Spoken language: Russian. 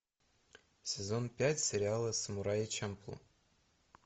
сезон пять сериала самурай чамплу